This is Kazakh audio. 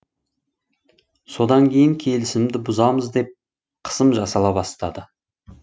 содан кейін келісімді бұзамыз деп қысым жасала бастады